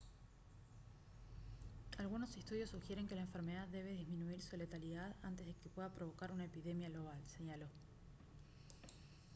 «algunos estudios sugieren que la enfermedad debe disminuir su letalidad antes de que pueda provocar una epidemia global» señaló